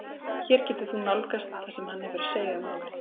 Hér getur þú nálgast það sem hann hefur að segja um málið.